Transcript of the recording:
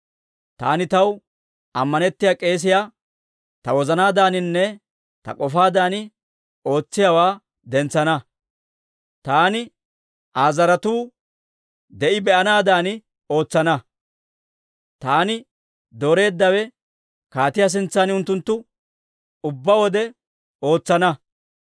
Taani taw ammanettiyaa k'eesiyaa, ta wozanaadaaninne ta k'ofaadan ootsiyaawaa dentsana; taani Aa zaratuu de'i be'anaadan ootsana; taani dooreeddawe kaatiyaa sintsan unttunttu ubbaa wode ootsana.